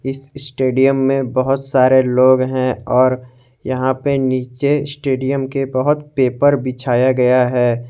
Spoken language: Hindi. इस स्टेडियम में बहुत सारे लोग हैं और यहां पर नीचे स्टेडियम के बहुत पेपर बिछाया गया है।